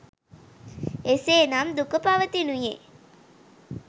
එසේ නම් දුක පවතිනුයේ